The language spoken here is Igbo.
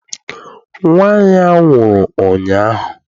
Nnwa ya nwụrụ ụnyaahụ.